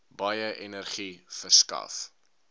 baie energie verskaf